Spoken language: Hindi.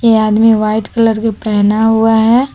ये आदमी व्हाइट कलर की पहना हुआ है।